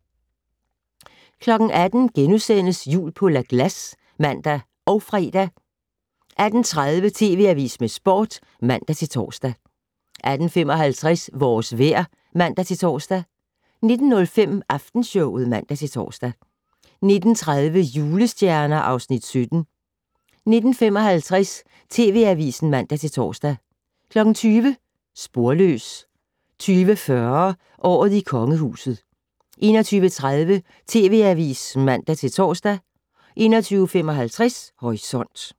18:00: Jul på La Glace *(man og fre) 18:30: TV Avisen med Sporten (man-tor) 18:55: Vores vejr (man-tor) 19:05: Aftenshowet (man-tor) 19:30: Julestjerner (Afs. 17) 19:55: TV Avisen (man-tor) 20:00: Sporløs 20:40: Året i Kongehuset 21:30: TV Avisen (man-tor) 21:55: Horisont